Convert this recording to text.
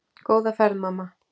Góða ferð mamma.